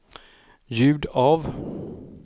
ljud av